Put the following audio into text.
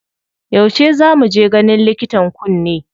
Yauce za mu je ganin likitan kunne?